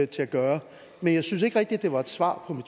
til at gøre men jeg synes ikke rigtig det var et svar på